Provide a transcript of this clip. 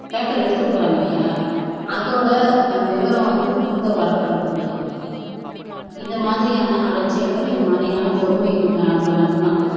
paper எடுத்துட்டு போறாங்க இல்லையா அதோட விவரம் வந்து திரும்ப வரப்போறது கிடையாது இதை மாதிரியான அலட்சியங்கள் இதை மாதிரியான பொறுமையின்மை அதுதான்